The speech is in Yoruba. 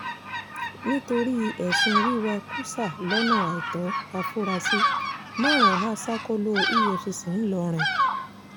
nítorí ẹ̀sùn wíwá kùsà lọ́nà àìtó àfúráṣí márùn-ún há sákò̩ló̩ efcc ńlórin